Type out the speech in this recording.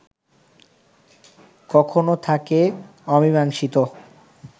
কখনো থাকে অমীমাংসিত